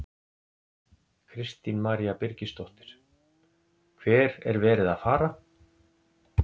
Kristín María Birgisdóttir: Hver er verið að fara?